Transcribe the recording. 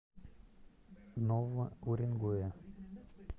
нового уренгоя